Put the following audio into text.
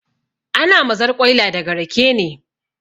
Ana mazarƙwaila daga rake ne